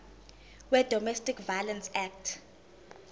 wedomestic violence act